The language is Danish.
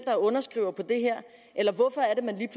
er underskriver på det her eller hvorfor er